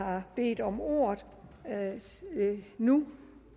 har bedt om ordet nu